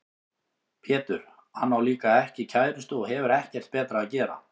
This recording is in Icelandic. Pétur: Hann á líka ekki kærustu og hefur ekkert betra að gera.